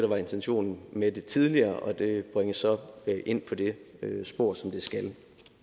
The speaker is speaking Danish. var intentionen med det tidligere og det bringes så ind på det spor som det skal